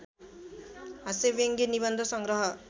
हास्यव्यङ्ग्य निबन्ध सङ्ग्रह